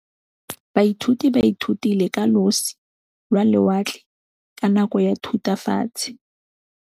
Baithuti ba ithutile ka losi lwa lewatle ka nako ya Thutafatshe.